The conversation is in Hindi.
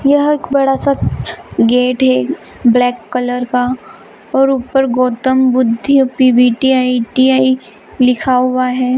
यह एक बड़ा सा गेट है ब्लैक कलर काऔर ऊपर गौतम बुद्ध यू.पी.बी.टी.आई.टी. आई लिखा हुआ है।